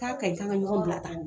K'a kaɲi kan ka ɲɔgɔn bila tan.